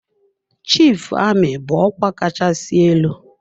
Chief Amị bụ ọkwa kachasị elu.